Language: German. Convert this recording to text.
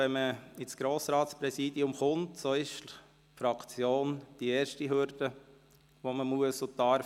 Wenn man in das Grossratspräsidium gelangt, ist die Fraktion die erste Hürde, die man nehmen muss und darf.